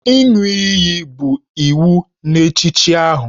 Ịṅụ iyi bụ iwu n'echichi ahụ